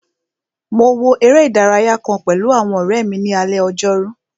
Mo wo eré ìdárayá kàn pẹ̀lú àwọn ọ̀rẹ́ mi ní alé ojórú